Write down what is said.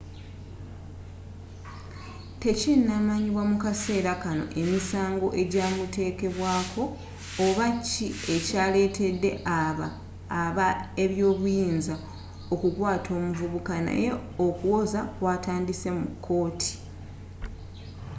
tekinnamanyibwa mu kaseera kanno emisango ejinamuteekebwako oba ki ekya lettedde aba ebyobuyinza okukwaata omuvubuka naye okuwoza kwatandise mu kooti